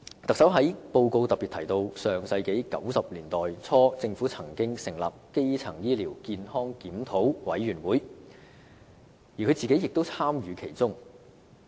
特首在施政報告中特別提到，在上世紀90年代初，政府曾成立基層醫療健康檢討委員會，特首本人亦有參與其中。